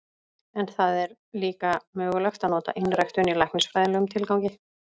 En það er líka mögulegt að nota einræktun í læknisfræðilegum tilgangi.